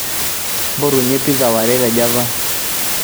mpotunye pizza ware te Java